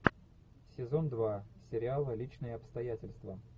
сезон два сериала личные обстоятельства